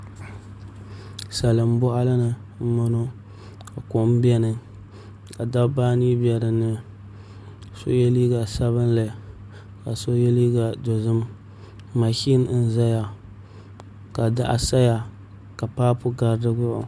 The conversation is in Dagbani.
Salin boɣali ni n boŋo ka kom biɛni ka dabba anii bɛ dinni so yɛ liiga sabinli ka so yɛ liiga dozim mashin n ʒɛya ka daɣu saya ka paapu gari di gbuni